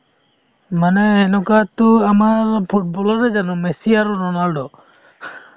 মানে এনেকুৱা তো আমাৰ ফুটব'লৰে জানো messy আৰু ronaldo